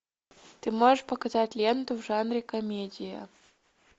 ты можешь показать ленту в жанре комедия